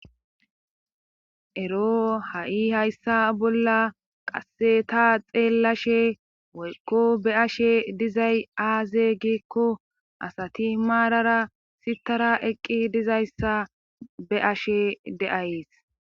Eroo haui hayssa bolla qasse ta xeellashe woykko be7ashe dizay aaze giikko asati maarara sittara eqqidi dizayssa be7ashe